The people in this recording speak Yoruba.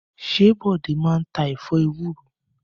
Ṣé Bọ́lá máa ń ta ẹ̀fọ́ ewúro?